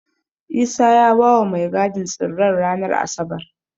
Isa ya bawa mai gadin tsirren ranar Asabar.